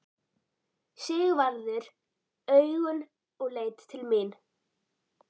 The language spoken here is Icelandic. Sigvarður augun og leit til mín.